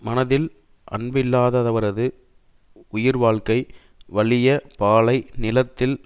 மனதில் அன்பில்லாதவரது உயிர் வாழ்க்கை வலிய பாலை நிலத்தில்